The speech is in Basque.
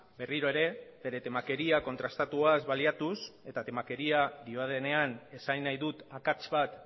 berriro ere bere temakeria kontrastatuaz baliatuz eta temakeria diodanean esan nahi dut akats bat